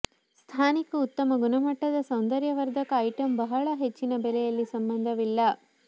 ಸ್ಥಾನಿಕ ಉತ್ತಮ ಗುಣಮಟ್ಟದ ಸೌಂದರ್ಯವರ್ಧಕ ಐಟಂ ಬಹಳ ಹೆಚ್ಚಿನ ಬೆಲೆಯಲ್ಲಿ ಸಂಬಂಧವಿಲ್ಲ